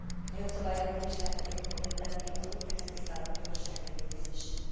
A jogszabály addig is lehetővé fogja tenni az új textilszálak gyors engedélyezését.